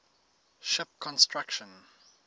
ship construction